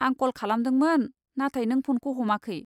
आं कल खालामदोंमोन, नाथाय नों फनखौ हमाखै।